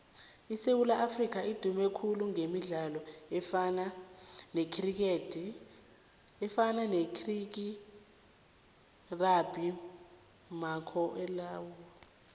isewula afrika idume khulu gemidlalo efana necriketrugbymakhakulararhwe